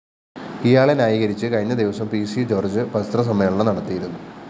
ഇയാളെ ന്യായീകരിച്ച് കഴിഞ്ഞ ദിവസം പിസി ജോര്‍ജ്ജ് പത്രസമ്മേളനം നടത്തിയിരുന്നു